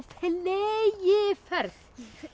fleygiferð